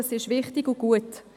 Das ist wichtig und gut.